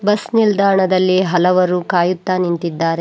Bus ನಿಲ್ದಾಣದಲ್ಲಿ ಹಲವರು ಕಾಯುತ್ತಾ ನಿಂತಿದ್ದಾರೆ.